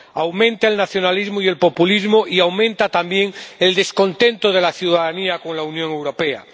Aumenta el nacionalismo y el populismo y aumenta también el descontento de la ciudadanía con la Unión Europea.